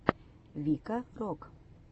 вика рок